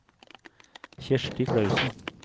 Kjersti Klausen